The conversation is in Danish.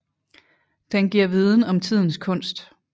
Den giver viden om tidens kunst